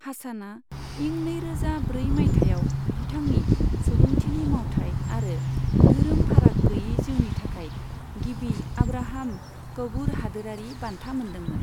हासानआ इं नैरोजा ब्रै माइथायाव बिथांनि सुबुंथिनि मावथाइ आरो धोरोम फाराग गैयै जिउनि थाखाय गिबि आब्राहाम क'वूर हादोरारि बान्था मोन्दोंमोन।